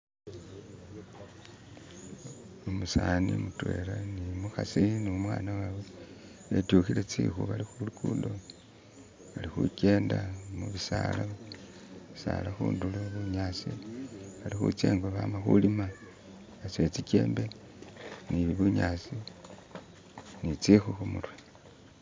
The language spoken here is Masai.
Umusaani mutwela ni umukhasi ni umwaana wawe betyukhile tsikhu bali khulugudo bali khukyenda mu bisaala, bisaala khundulo bunyaasi, bali khutsya ingo bama khulima basutile tsijembe ni bunyasi ni tsikhu khumurwe.